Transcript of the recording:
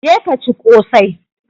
Je ka ci ƙosai!